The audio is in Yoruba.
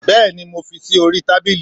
bẹẹni mo fí sí orí tábilí